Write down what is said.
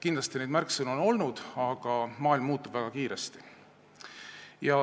Kindlasti on neid märksõnu olnud, aga maailm muutub väga kiiresti.